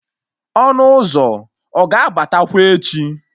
Ọnụ ụzọ ọ ga-abatakwa echi?